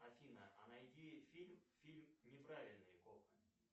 афина а найди фильм фильм неправильные копы